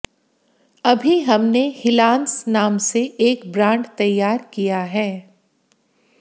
अभी हमने हिलांस नाम से एक ब्रांड तैयार किया है